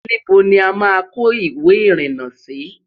níbo ní àma kò ìwé irina Si?